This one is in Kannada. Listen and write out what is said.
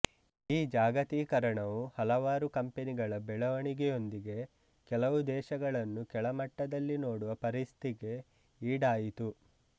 ಈ ಜಾಗತಿಕರಣವು ಹಲವಾರು ಕಂಪನಿಗಳ ಬೆಳವಣಿಗೆಯೊಂದಿಗೆ ಕೆಲವು ದೇಶಗಳನ್ನು ಕೆಳಮಟ್ಟದಲ್ಲಿ ನೋಡುವ ಪರಿಸ್ಥಿಗೆ ಈಡಾಯಿತು